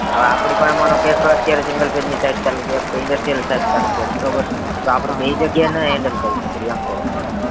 હવે આપડી પાહે માનો કે અત્યારે single phase ની site ચાલુ કરી industrial site ચાલુ કરી બરોબર તો આપડે બય જગ્યાએ ન handle કરી શકીએ એમ કૌ છું